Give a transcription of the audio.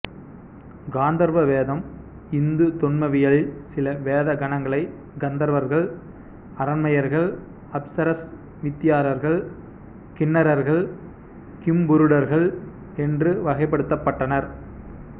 காந்தர்வ வேதம் இந்து தொன்மவியலில் சில தேவ கணங்களை கந்தர்வர்கள் அரம்பையர்கள் அப்சரஸ் வித்தியாதரர்கள் கிண்ணரர்கள் கிம்புருடர்கள் என்று வகைப்படுத்தப்பட்டனர்